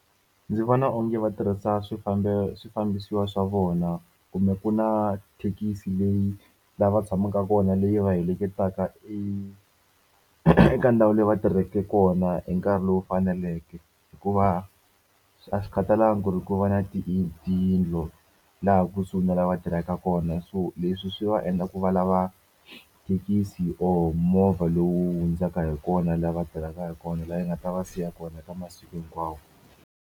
Ndzi vona onge va tirhisa swifambisiwa swa vona kumbe ku na thekisi leyi lava tshamaka kona leyi va heleketaka eka ndhawu leyi va tirhaka kona hi nkarhi lowu faneleke. Hikuva, a swi khatalanga ku ri ku va na tiyindlo laha kusuhi na laha va tirhaka kona. So leswi swi va endla ku va lava thekisi or movha lowu hundzaka hi kona laha va tirhaka hi kona, laha yi nga ta va siya kona eka masiku hinkwawo.